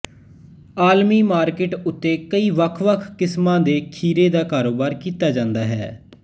ਆਲਮੀ ਮਾਰਕੀਟ ਉੱਤੇ ਕਈ ਵੱਖ ਵੱਖ ਕਿਸਮਾਂ ਦੇ ਖੀਰੇ ਦਾ ਕਾਰੋਬਾਰ ਕੀਤਾ ਜਾਂਦਾ ਹੈ